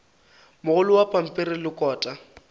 mogolo wa pampiri le kota